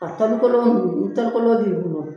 A tɔli kolon ninnu ni tɔli kolon b'i bolo